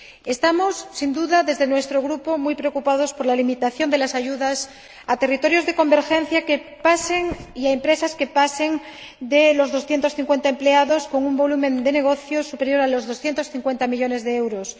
Estamos, sin duda, en nuestro Grupo muy preocupados por la limitación de las ayudas a territorios de convergencia y a empresas de más de 250 empleados y con un volumen de negocio superior a los 250 millones de euros.